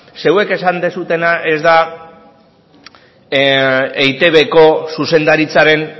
zeuek esan duzuena ez da eitbko zuzendaritzaren